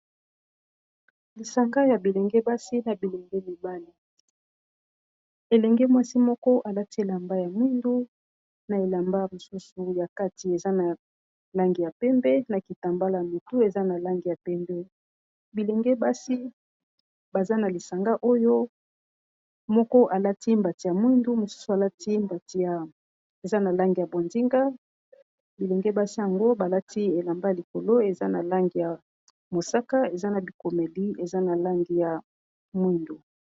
Lisanga ya bilenge basi na bilenge mibali Ellenge mwasi moko a lati elamba ya mwindu na elamba mosusu ya kati eza na langi ya pembe na kitambala na mutu eza na langi ya pembe . Bilenge basi baza na lisanga oyo moko a lati mbati ya mwindu mosusu eza na langi ya bondinga , bilenge basi yango ba lati elamba likolo eza na langi ya mosaka eza na bikomeli eza na langi ya mwindu .